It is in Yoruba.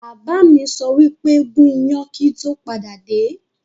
Bàbá mi sọ wípé 'gún iyán kíì tó padà dé!